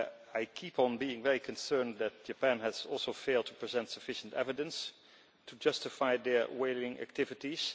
I continue to be very concerned that Japan has also failed to present sufficient evidence to justify their whaling activities.